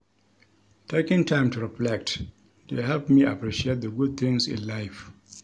Taking time to reflect dey help me appreciate the good things in life.